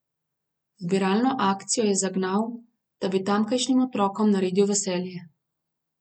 Zbiralno akcijo je zagnal, da bi tamkajšnjim otrokom naredil veselje.